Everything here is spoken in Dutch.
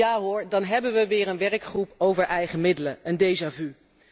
En ja hoor, dan hebben we weer een werkgroep over eigen middelen, een déjà vu